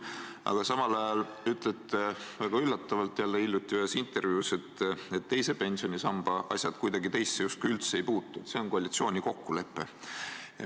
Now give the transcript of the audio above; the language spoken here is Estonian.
Aga samal ajal ütlesite väga üllatavalt hiljuti ühes intervjuus, et teise pensionisamba asjad teisse justkui kuidagi üldse ei puutu, et see on koalitsiooni kokkulepe.